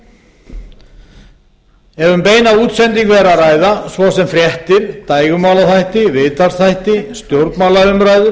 ef um beina útsendingu er að ræða svo sem fréttir dægurmálaþætti viðtalsþætti stjórnmálaumræður